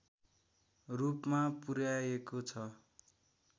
रूपमा पुर्‍याएको छ